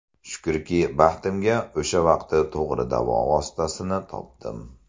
Shukrki, baxtimga o‘sha vaqti to‘g‘ri davo vositasini topdim.